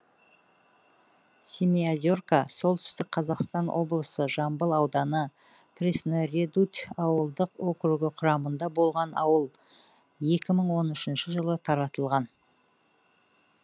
семиозерка солтүстік қазақстан облысы жамбыл ауданы пресноредуть ауылдық округі құрамында болған ауыл екі мың он үшінші жылы таратылған